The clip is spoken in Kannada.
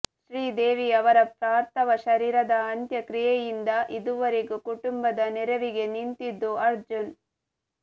ಶ್ರೀದೇವಿ ಅವರ ಪಾರ್ಥವ ಶರೀರದ ಅಂತ್ಯಕ್ರಿಯೆಯಿಂದ ಇದುವರಗೊ ಕುಟುಂಬದ ನೆರವಿಗೆ ನಿಂತಿದ್ದು ಅರ್ಜುನ್